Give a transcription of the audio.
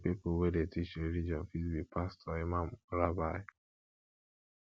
di pipo wey dey teach religion fit be pastor imam or rabbi